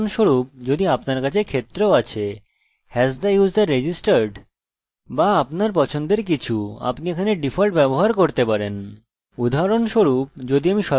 অথবা আপনার পছন্দমত কিছু আপনি এখানেও ডিফল্ট ব্যবহার করতে পারেন